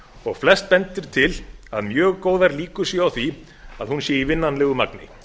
og flest bendir til að mjög góðar líkur séu á því að hún sé í vinnanlegu magni